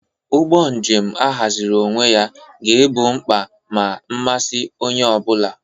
Ụgbọ njem ahaziri onwe ya ga-egbo mkpa na mmasị onye ọ bụla.